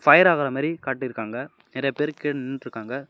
Pier ஆகாத மாறி காட்டிருக்காங்க நறைய பேரு கீழ நின்னுட்ருக்காங்க.